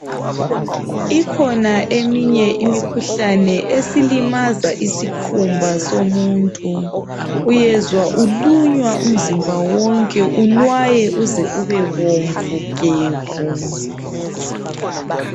Ikhona eminye imikhuhlane esilimaza isikhumba somuntu uyezwa ulunywa umzimba wonke unwaye uze ube bomvu gebhu.